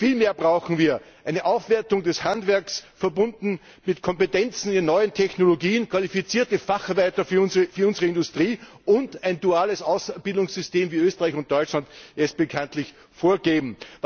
Vielmehr brauchen wir eine Aufwertung des Handwerks, verbunden mit Kompetenzen in den neuen Technologien, qualifizierte Facharbeiter für unsere Industrie und ein duales Ausbildungssystem, wie Österreich und Deutschland es bekanntlich vorgeben.